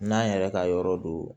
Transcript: N'an yɛrɛ ka yɔrɔ do